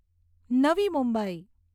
નવી મુંબઈ